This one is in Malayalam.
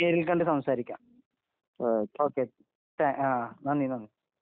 അപ്പൊ നേരിൽ കണ്ട് സംസാരിക്കാം ഓക്കേ നന്ദി നന്ദി